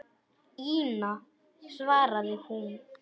Ína, svaraði hún.